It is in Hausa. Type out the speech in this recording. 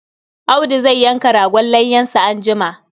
Audu zai yanka ragon layyansa anjima.